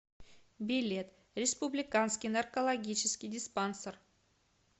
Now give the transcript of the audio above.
билет республиканский наркологический диспансер